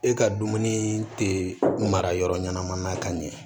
E ka dumuni tɛ mara yɔrɔ ɲɛnama na ka ɲɛ